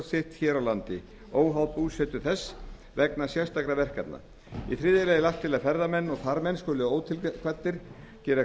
sitt hér á landi óháð búsetu þess vegna sérstakra verkefna í þriðja lagi er lagt til að ferðamenn og farmenn skuli ótilkvaddir gera